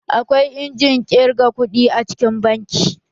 Akwai injimin ƙirga kuɗi a cikin banki.